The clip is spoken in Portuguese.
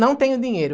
Não tenho dinheiro.